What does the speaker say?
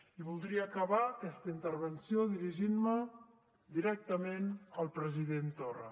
i voldria acabar aquesta intervenció dirigint me directament al president torra